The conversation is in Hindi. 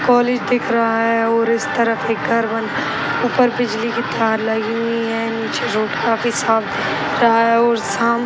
कॉलेज दिख रहा है और इस तरफ एक घर बन ऊपर बिजली की तार लगी हुई है। नीचे झूठ काफी शांत रहा है और शाम --